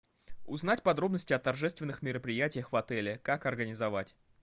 узнать подробности о торжественных мероприятиях в отеле как организовать